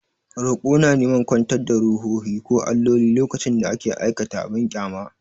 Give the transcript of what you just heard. Roƙo na neman kwantar da ruhohi ko alloli lokacin da aka aikata abin ƙyama.